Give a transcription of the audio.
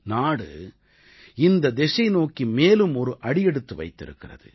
நாடு இந்தத் திசைநோக்கி மேலும் ஒரு அடியெடுத்து வைத்திருக்கிறது